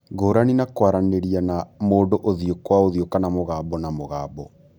Ngũrani na kwaranĩria na mũndũ ũthiũ kwa ũthiũ kana mũgambo na mũgambo,